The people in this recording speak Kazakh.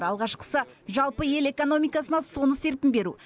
алғашқысы жалпы ел экономикасына соны серпін беру